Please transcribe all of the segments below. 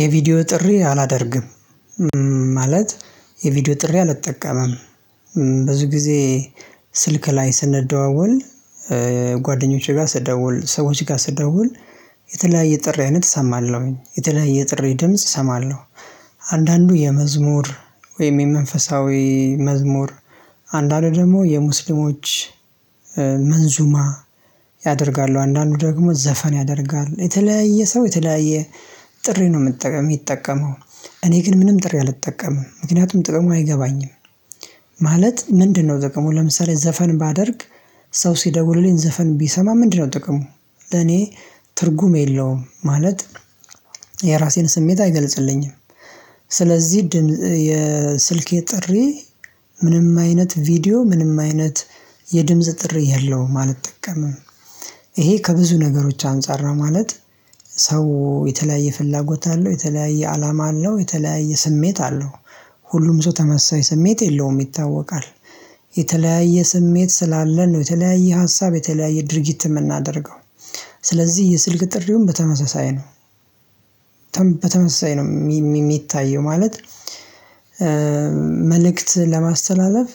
የቪዲዮ ጥሪ አላደርግም። ማለት የቪዲዮ ጥሪ አልጠቀምም። ብዙ ጊዜ ስልክ ላይ ስንደዋወል። ጓደኞቼ ጋር ስደዋውል ሰዎች ጋር ስደውል የተለያየ ጥሪ አይነት እሰማለሁኝ የተለያየ ጥሪ ድምጽ እሰማለሁ። አንዳንዱ የመዝሙር ወይም የመንፈሳዊ መዝሙር አንዳንድ ደግሞ የሙስሊሞች መንዙማ። ያደርጋሉ አንዳንዱ ደግሞ ዘፈን ያደርጋሉ የተለያየ ሰው የተለያየ ጥሪ ነው የሚጠቀመው። እኔ ግን ምንም ጥሪ አልጠቀምም ምክንያቱም ጥቅሙ አይገባኝም። ማለት ምንድነው? ጥቅሞ ለምሳሌ ዘፈን ባደርግ። ሰው ሲደውሉልኝ ዘፈን ቢሰማ ምንድነው? ጥቅሞ ለኔ ትርጉም የለውም። ማለት የራሴን ስሜት አይገልጽልኝም። ስለዚህ የስልኬ ጥሪ ምንም አይነት ቪዲዮ ምንም አይነት የድምጽ ጥሪ የለውም አልጠቀምም። ይሄ ከብዙ ነገሮች አንፃር ነው ማለት። ሰው የተለያየ ፍላጎት አለው የተለያየ አላማ አለው የተለያየ ስሜት አለው። ሁሉም ሰው ተመሳሳይ ስሜት የለውም ይታወቃል። የተለያየ ስሜት ስላለ ነው የተለያየ ሀሳብ የተለያየ ድርጊት የምናደርገው። ስለዚህ የስልክ ጥሪውን በተመሳሳይ ነው። በተመሳሳይ ነው የሚታየው ማለት። መልእክት ለማስተላለፍ።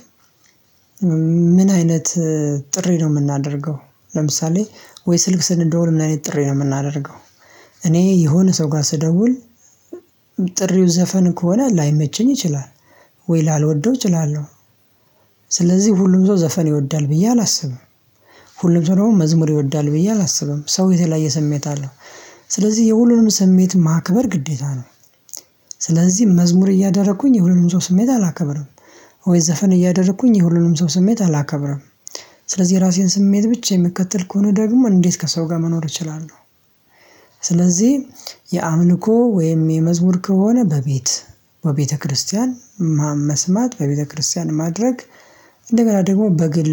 ምን አይነት ጥሪ ነው የምናደርገው? ለምሳሌ ወይ ስልክ ስንደውል ምን አይነት ጥሪ ነው የምናደርገው? እኔ የሆነ ሰው ጋር ስደውል ጥሪው ዘፈን ከሆነ ላይመቸኝ ይችላል። ወይ ላልወደው እችላለሁ። ስለዚህ ሁሉም ሰው ዘፈን ይወዳል ብዬ አላስብም። ሁሉም ሰው ደግሞ መዝሙር ይወዳል ብዬ አላስብም ሰው የተለያየ ስሜት አለው። ስለዚህ የሁሉንም ስሜት ማክበር ግዴታ ነው። ስለዚህ መዝሙር እያደረኩኝ የሁሉንም ሰው ስሜት አላከብርም። ወይ ዘፈን እያደረኩኝ የሁሉንም ሰው ስሜት አላከብርም። ስለዚህ የራሴን ስሜት ብቻ የምከተል ከሆነ ደግሞ እንዴት ከሰው ጋር መኖር እችላለሁ? ስለዚህ የአምልኮ ወይም የመዝሙር ከሆነ በቤት በቤተክርስቲያን መስማት በቤተክርስቲያን ማድረግ እንደገና ደግሞ በግል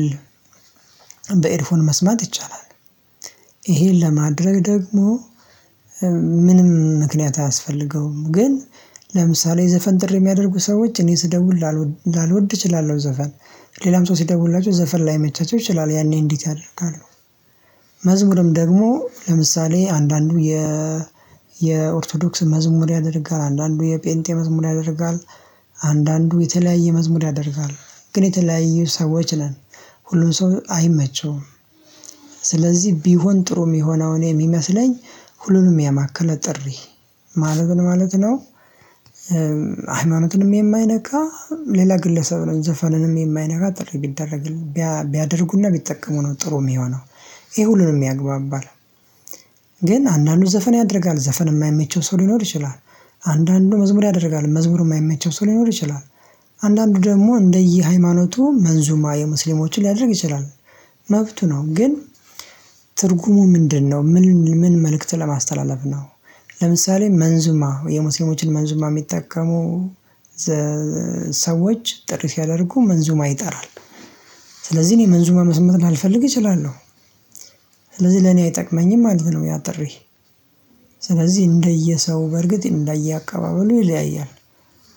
በኤድፎን መስማት ይቻላል። ይሄን ለማድረግ ደግሞ ምንም ምክንያት አያስፈልገውም። ግን ለምሳሌ የዘፈን ጥሪ የሚያደርጉ ሰዎች እኔ ስደውል ላልወድ እችላለሁ ዘፈን ሌላም ሰው ሲደውላቸው ዘፈን ላይመቻቸው ይችላል ያኔ እንዴት ያደርጋሉ? መዝሙርም ደግሞ ለምሳሌ አንዳንዱ የ የኦርቶዶክስ መዝሙር ያደርጋል አንዳንዱ የፔንቴ መዝሙር ያደርጋል። አንዳንዱ የተለያየ መዝሙር ያደርጋል። ግን የተለያየ ሰዎች ነን ሁሉም ሰው አይመቸውም። ስለዚህ ቢሆን ጥሩ የሚሆነውን እኔ የሚመስለኝ ሁሉንም ያማከለ ጥሪ ማለት ነው ማለት ነው። ሃይማኖትንም የማይነካ ሌላ ግለሰብንም ዘፈንንም የማይነጋ ጥሪ ቢደረግ ቢያደርጉና ቢጠቀሙ ነው ጥሩ የሚሆነው። ይህ ሁሉንም ያግባባል። ግን አንዳንዱ ዘፈን ያደርጋል ዘፈን የማይመቸው ሰው ሊኖር ይችላል። አንዳንዱ መዝሙር ያደርጋል መዝሙሩ የማይመቸው ሰው ሊኖር ይችላል። አንዳንዱ ደግሞ እንደየ ሃይማኖቱ መንዙማ የሙስሊሞችን ሊያደርግ ይችላል። መብቱ ነው ግን። ትርጉሙ ምንድነው? ምን መልእክት ለማስተላለፍ ነው። ለምሳሌ መንዙማ የሙስሊሞችን መንዙማ የሚጠቀሙ ሰዎች ጥሪ ሲያደርጉ መንዙም አይጠራም። ስለዚህ እኔ መንዙም መስማት ላልፈልግ እችላለሁ። ስለዚህ ለኔ አይጠቅመኝም ማለት ነው ያ ጥሪ። ስለዚህ እንደየሰው በርግጥ እንዳየ አቀባበሉ ይለያያል።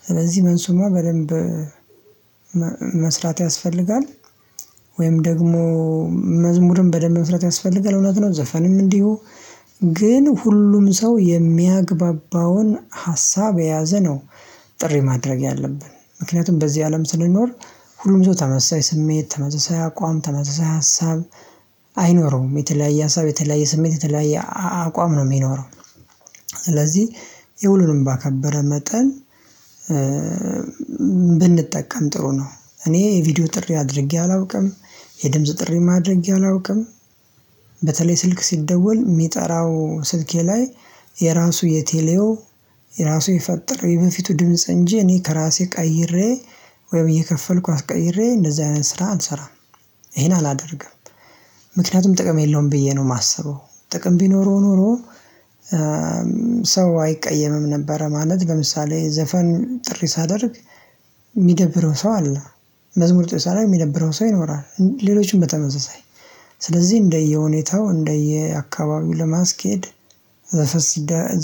ስለዚህ መንዙማ በደንብ መስራት ያስፈልጋል። ወይም ደግሞ መዝሙርም በደንብ መስራት ያስፈልጋል። እውነት ነው ዘፈንም እንዲሁ። ግን ሁሉም ሰው የሚያግባባውን ሀሳብ የያዘ ነው። ጥሪ ማድረግ ያለብን ምክንያቱም በዚህ አለም ስንኖር። ሁሉም ተመሳሳይ ስሜት ተመሳሳይ አቋም ተመሳሳይ ሀሳብ አይኖረውም የተለያየ ሀሳብ የተለያየ ስሜት የተለያየ አቋም ነው የሚኖረው። ስለዚህ የሁሉንም ባከበረ መጠን ብንጠቀም ጥሩ ነው። እኔ የቪዲዮ ጥሪ አድርጌ አላውቅም። የድምጽ ጥሪ ማድረግ አላውቅም። በተለይ ስልክ ሲደወል የሚጠራው ስልኬ ላይ የራሱ የቴሌው የራሱ ይፈጥር የበፊቱ ድምጽ እንጂ እኔ ከራሴ ቀይሬ ወይም እየከፈልኩ አስቀይሬ እንደዚህ አይነት ስራ አልሰራም። ይሄን አላደርግም። ምክንያቱም ጥቅም የለውም ብዬ ነው የማስበው ጥቅም ቢኖረው ኖሮ። ሰው አይቀየምም ነበረ ማለት በምሳሌ ዘፈን ጥሪ ሳደርግ የሚደብረው ሰው አለ። መዝሙር ጥሪ ሳደርግ የሚደብረው ሰው ይኖራል። ሌሎችም በተመሳሳይ ስለዚህ እንደየሁኔታው እንደየአካባቢው ለማስኬድ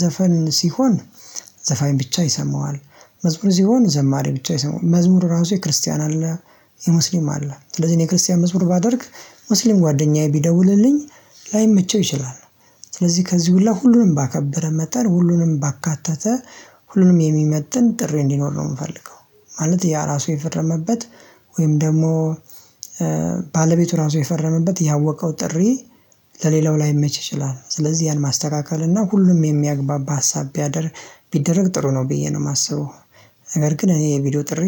ዘፈን ሲሆን። ዘፋኝ ብቻ ይሰማዋል። መዝሙር ሲሆን ዘማሬ ብቻ መዝሙር ራሱ የክርስቲያን አለ የሙስሊም አለ ስለዚህ እኔ የክርስቲያን መዝሙር ባደርግ ሙስሊም ጓደኛዬ ቢደውልልኝ ላይመቸው ይችላል። ስለዚህ ከዚህ ሁላ ሁሉንም ባከበረ መጠን ሁሉንም ባካተተ ሁሉንም የሚመጥን ጥሪ እንዲኖር ነው የምፈልገው። ማለት ያ ራሱ የፈረመበት። ወይም ደግሞ ባለቤቱ ራሱ የፈረመበት ያወቀው ጥሪ። ለሌላው ላይመች ይችላል ስለዚህ ያን ማስተካከል እና ሁሉም የሚያግባባ ሀሳብ። ቢደረግ ጥሩ ነው ብዬ ነው የማስበው። ነገር ግን እኔ የቪዲዮ ጥሪ